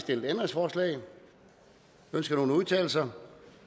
stillet ændringsforslag ønsker nogen at udtale sig